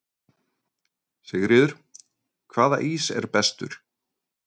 Sigríður: Hvaða ís er bestur?